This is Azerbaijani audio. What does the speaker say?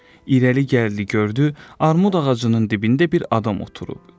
İrəli gəldi, gördü, armud ağacının dibində bir adam oturub.